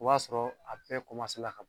O b'a sɔrɔ a bɛɛ ka bɔ